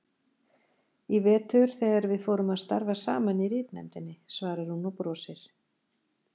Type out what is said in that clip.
Í vetur þegar við fórum að starfa saman í ritnefndinni, svarar hún og brosir.